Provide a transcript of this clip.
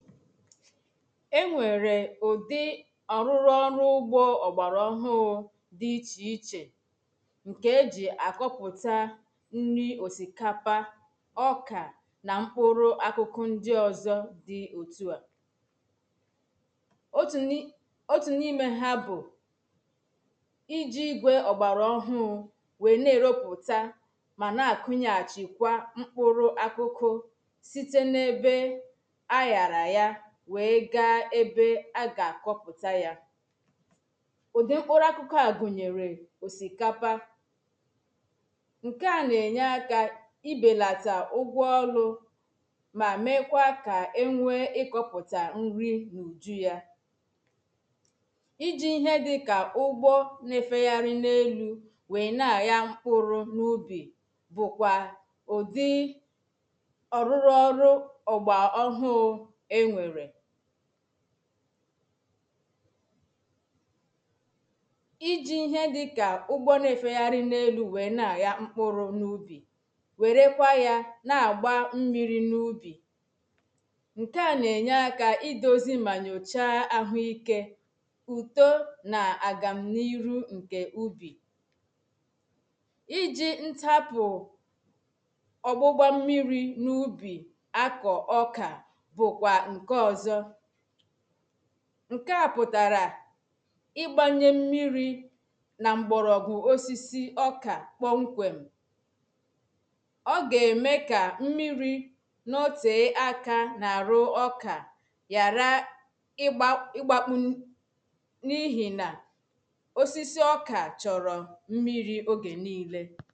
e nwere ụdị ọrụ ugbo ọgbara ọhụụ dị iche iche nke e ji akọpụta nri osikapa ọka na mkpụrụ akụkụ ndị ọzọ dị otu a otu n'ime ha bụ iji gwe ọgbara ọhụụ wee na-eropụta ma na-akụnyaghachikwa mkpụrụ akụkụ wee ga-ebe a ga-akọpụta ya ụdị mkpụrụ akụkụ a gụnyere osikapa nke a na-enye aka ibelata ụgwọ ọlụ ma mekwaa ka e nwee ịkọpụta nri n’ụju ya iji he dị ka ụgbọ na-efegharị n’elu wee na-agaghị mkpụrụ n’ubi bụkwa ụdị ọrụrụ ọrụ iji ihe dịka ụgbọ na-efegharị n'elu wee na-aya mkpụrụ n'ubi were kwa ya na-agba mmiri n'ubi nke a na-enye aka idozi ma nyochaa ahụike uto na agam na iru nke ubi iji ntapu ọgbụgba mmiri n'ubi akọ ọka ṅ̀ké à pụ̀tàrà ị̀gbȧṅye mmiri na mgbọ̀rọ̀gwụ̀ osisi ọkà kpọ̀ nkwėm ọ ga-eme kà mmiri na ótė àkà na-arụ ọkà yara ịgbȧ, ịgbakpem n’ihìnà osisi ọkà chọ̀rọ̀ mmiri ògė niilė